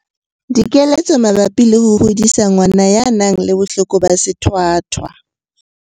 Dikeletso mabapi le ho hodisa ngwana ya nang le bohloko ba sethwathwa.